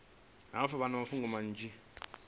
hafhu vha na mafhungo manzhi